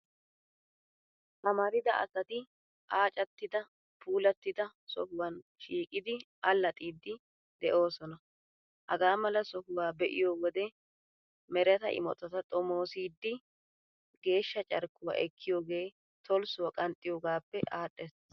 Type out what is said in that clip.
Amarida asati aacattidi puulattida sohuwan shiiqidi allaxxiiddi de'oosona. Hagaa mala sohuwaa be'iyoo wode mereta imotata xomoossiiddi, geeshsha carkkuwaa ekkiyoogee tolssuwaa qanxxiyoogaappe aadhdhees.